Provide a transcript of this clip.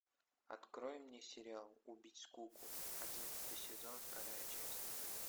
открой мне сериал убить скуку одиннадцатый сезон вторая часть